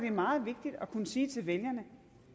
er meget vigtigt at kunne sige til vælgerne